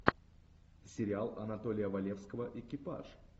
сериал анатолия валевского экипаж